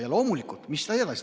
Ja mis ta edasi tegi?